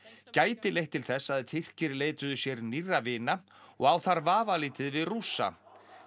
gæti leitt til þess að Tyrkir leituðu sér nýrra vina og á þar vafalítið við Rússa